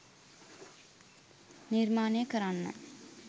නිර්මාණය කරන්න.